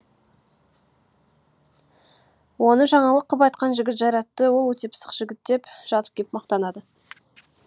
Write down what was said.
оны жаңалық қып айтқан жігіт жайратты ол өте пысық жігіт деп жатып кеп мақтанады